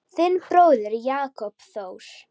Þinn bróðir, Jakob Þór.